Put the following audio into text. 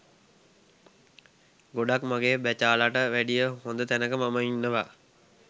ගොඩක් මගේ බැචාලට වැඩිය හොඳ තැනක මම ඉන්නවා